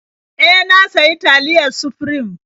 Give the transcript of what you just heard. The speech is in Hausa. E, na sayi taliyar Sufrim.